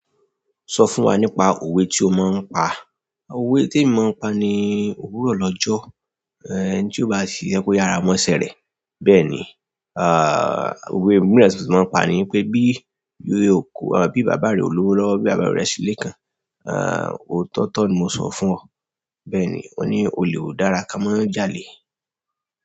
Sọ fún wa nípa òwe tí o máa ń pa. Òwe témi máa ń pa ni "Òwúrọ̀ lọ́jọ́. Ẹni tí óó bá ṣiṣẹ́, kó yára mọ́ṣẹ́ rẹ̀." Bẹ́ẹ̀ ni, òwe mìíràn tí mo máa ń pa ní pé bí yò kọ, à, bí bàbá rẹ ò lówó rọ́, bí àbúrò rẹ ṣí ilé kan, à, o tọ̀tọ̀ ni mo sọ fún ọ. Bẹ́ẹ̀ni, wọ́n ní olè ò dára ká mọ́ jalè.